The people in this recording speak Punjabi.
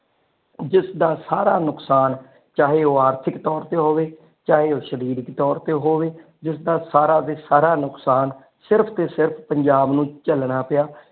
ਜਿਸਦਾ ਸਾਰਾ ਨੁਕਸਾਨ ਚਾਹੇ ਉਹ ਆਰਥਿਕ ਤੋਰ ਤੇ ਹੋਵੇ ਚਾਹੇ ਉਹ ਸ਼ਰੀਰਕ ਤੋਰ ਤੇ ਹੋਵੇ ਜਿਸਦਾ ਸਾਰਾ ਦਾ ਸਾਰਾ ਨੁਕਸਾਨ ਸਿਰਫ ਤੇ ਸਿਰਫ ਪੰਜਾਬ ਨੂੰ ਝਲਣਾ ਹੋਵੇ।